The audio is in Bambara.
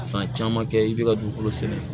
San caman kɛ i bɛ ka dugukolo sɛnɛ